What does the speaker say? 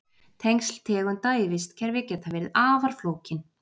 Tengsl tegunda í vistkerfi geta verið afar flókin.